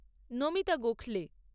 Namita Gokhale